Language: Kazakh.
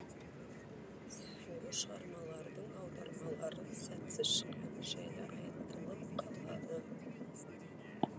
сол шығармалардың аудармалары сәтсіз шыққаны жайлы айтылып қалады